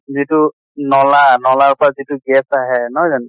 যিহেতু নʼলা নʼলাৰ পৰা যিটো gas আহে নহয় জানো?